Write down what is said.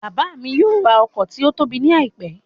Bàbá mi yóò rà ọkọ̀ tí ótóbi ní àìpẹ́